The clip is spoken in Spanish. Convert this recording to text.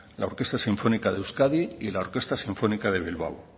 la orquesta sinfónica de euskadi y la orquesta sinfónica de bilbao